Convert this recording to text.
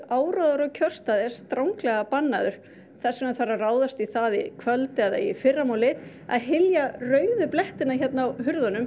áróður á kjörstað er stranglega bannaður þess vegna þarf að ráðast í það í kvöld eða í fyrramálið að hylja rauðu blettina hér